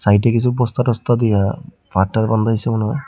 এইটা কিসু বস্তা টস্তা দিয়া পাড় টার বান্ধাইসে মনে হয়।